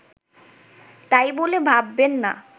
তাই বলে ভাববেন না